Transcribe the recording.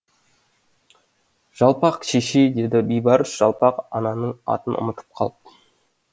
жалпақ шешей деді бейбарс жалпақ ананың атын ұмытып қалып